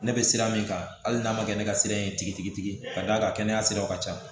Ne bɛ sira min kan hali n'a ma kɛ ne ka sira ye tigitigi ka d'a ka kɛnɛya siraw ka ca